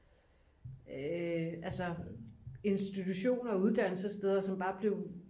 altså institution og uddannelsessted som bare blev